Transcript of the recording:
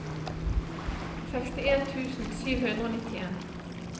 sekstien tusen sju hundre og nittien